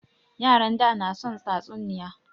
Yaran da na son tatsuniya